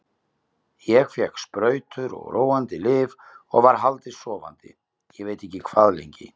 Ég fékk sprautur og róandi lyf og var haldið sofandi ég veit ekki hvað lengi.